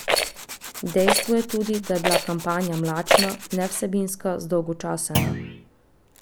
Dejstvo je tudi, da je bila kampanja mlačna, nevsebinska, zdolgočasena.